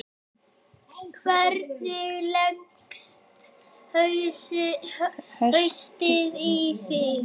Hvernig leggst haustið í þig?